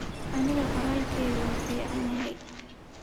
Aniga qoralkeyki uu ficanyhy.